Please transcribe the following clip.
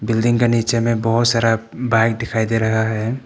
Building के नीचे मे बहुत सारा बाइक दिखाई दे रहा है।